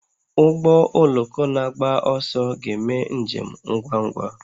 Ụgbọ oloko na-agba ọsọ ga-eme njem ngwa ngwa